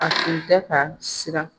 A tun tɛ ka siran